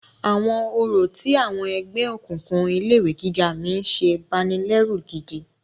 Àwọn orò tí àwọn ẹgbẹ́ òkùnkùn ilé ìwé gíga mí ń ṣe banilẹ́rù gidi.